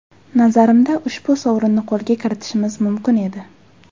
Nazarimda, ushbu sovrinni qo‘lga kiritishimiz mumkin edi.